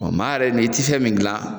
Ɔ maa yɛrɛ ni i ti fɛ min gilan